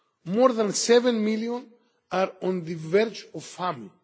More than 7 million are on the verge of famine.